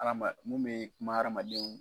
Hadama mun bɛ kuma hadamaden